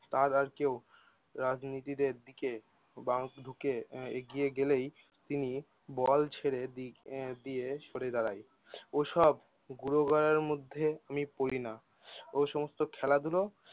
তার আর কেউ রাজনীতিদের দিকে বাউন্স ঢুকে এগিয়ে গেলেই তিনি বল ছেড়ে দিক দিয়ে সরে দাঁড়ায়। ওসব গুঁড়ো গড়ার মধ্যে আমি পড়িনা ও সমস্ত খেলাধুলো